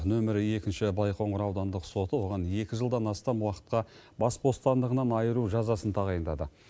нөмір екінші байқоңыр аудандық соты оған екі жылдан астам уақытқа бас бостандығынан айыру жазасын тағайындады